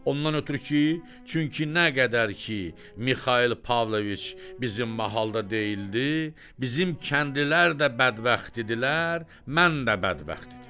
Ondan ötrü ki, çünki nə qədər ki, Mixail Pavloviç bizim mahalda deyildi, bizim kəndlilər də bədbəxt idilər, mən də bədbəxt idim.